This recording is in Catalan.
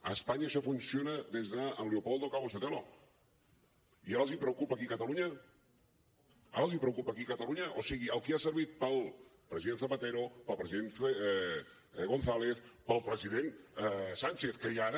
a espanya això funciona des del leopoldo calvo sotelo i ara els preocupa aquí a catalunya ara els preocupa aquí a catalunya o sigui el que ha servit per al president zapatero per al president gonzález per al president sánchez que hi ha ara